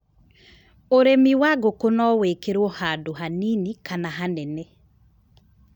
Ũrĩmi wa ngũkũ no wĩkĩrwo handũ hanini kana hanene.